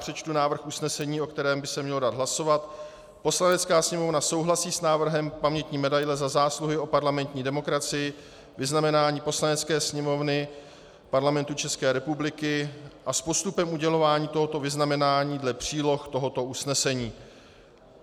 Přečtu návrh usnesení, o kterém by se mělo dát hlasovat: "Poslanecká sněmovna souhlasí s návrhem pamětní medaile Za zásluhy o parlamentní demokracii, vyznamenání Poslanecké sněmovny Parlamentu České republiky, a s postupem udělování tohoto vyznamenání dle příloh tohoto usnesení."